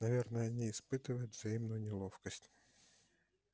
наверное они испытывают временную неловкость